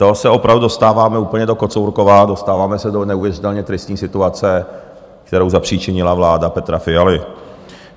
To se opravdu dostáváme úplně do kocourkova, dostáváme se do neuvěřitelně tristní situace, kterou zapříčinila vláda Petra Fialy.